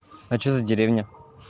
а что за деревня